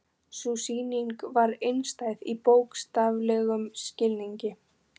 Sú sýning var einstæð í bókstaflegum skilningi.